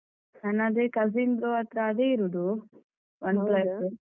ನನ್ನದೆ cousin ದು ಹತ್ರ ಅದೇ ಇರೋದು. OnePlus ಉ.